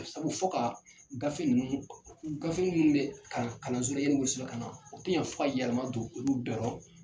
Sabu, fɔ ka gafe ninnu, gafe minnu bɛ kalanso la yani wolo sɛbɛ ka na, o tɛ ɲan fɔ ka yɛlɛma don olu bɛɛ rɔ.